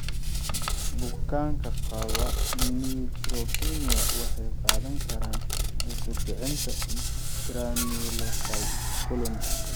Bukaanka qaba neutropenia waxay qaadan karaan cunsur kicinta granulocyte colony (G CSF).